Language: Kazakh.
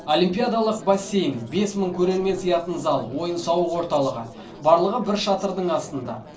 олимпиадалық бассейн бес мың көрермен сиятын зал ойын сауық орталығы барлығы бір шатырдың астында